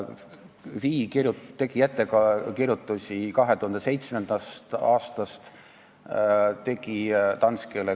Finantsinspektsioon tegi ettekirjutusi 2007. aastast, ta tegi ettekirjutusi Danskele.